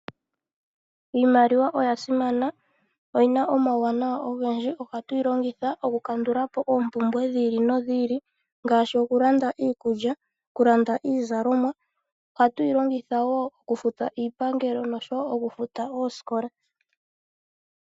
Iimaliwa oya simana, oyina omawuwanawa ogendji. Ohatu yi longitha oku kandulapo oompumbwe dhi ili nodhi ili. Ngaashi oku landa iikulya, oku landa iizalomwa. Ohatu yi longitha wo oku futa iipangelo noshowo oku futa oosikola.